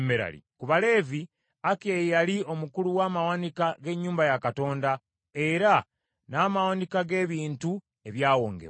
Ku Baleevi, Akiya ye yali omukulu w’amawanika g’ennyumba ya Katonda, era n’amawanika g’ebintu ebyawongebwa.